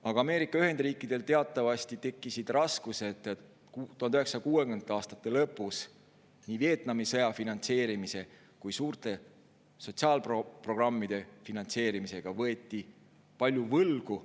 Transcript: Aga Ameerika Ühendriikidel teatavasti tekkisid raskused 1960. aastate lõpus, kui nii Vietnami sõja finantseerimise kui ka suurte sotsiaalprogrammide finantseerimisega võeti palju võlgu.